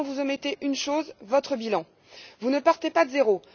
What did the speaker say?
Seulement, vous omettez une chose votre bilan. Vous ne partez pas de zéro.